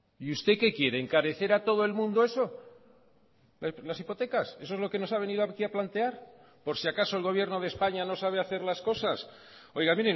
y usted qué quiere encarecer a todo el mundo eso las hipotecas eso es lo que nos ha venido aquí a plantear por si acaso el gobierno de españa no sabe hacer las cosas oiga